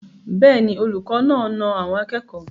Bẹ́ẹ̀ ni, olùkọ́ náà na àwọn akẹ́kọ̀ọ́.